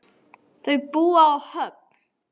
Þau búa á Höfn.